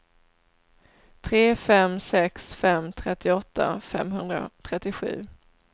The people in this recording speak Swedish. tre fem sex fem trettioåtta femhundratrettiosju